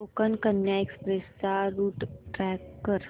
Konkan Kanya express चा route track कर